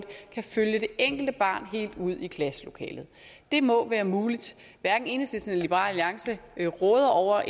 kan følge det enkelte barn helt ud i klasselokalet det må være muligt hverken enhedslisten eller liberal alliance råder over